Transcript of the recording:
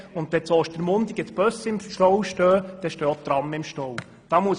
Wenn die Busse in Ostermundigen im Stau stehen, stehen auch die Trams im Stau.